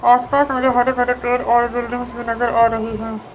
आस पास मुझे हरे भरे पेड़ और बिल्डिंग्स भी नजर आ रही है।